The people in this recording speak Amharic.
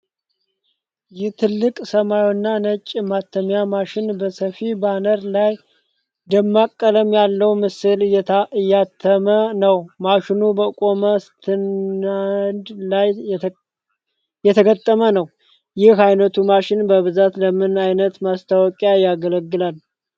ይህ ትልቅ፣ ሰማያዊና ነጭ የማተሚያ ማሽን በሰፊ ባነር ላይ ደማቅ ቀለም ያለው ምስል እያተመ ነው። ማሽኑ በቆመ ስታንድ ላይ የተገጠመ ነው። ይህ ዓይነቱ ማሽን በብዛት ለምን ዓይነት ማስታወቂያዎች ያገለግላል?